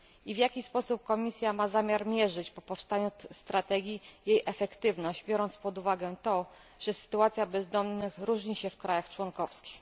W jaki sposób Komisja ma zamiar mierzyć po powstaniu strategii jej efektywność, biorąc pod uwagę to, że sytuacja bezdomnych różni się w krajach członkowskich?